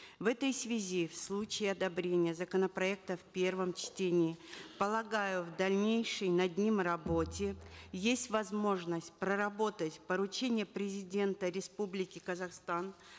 в этой связи в случае одобрения законопроекта в первом чтении полагаю в дальнейшей над ним работе есть возможность проработать поручение президента республики казахстан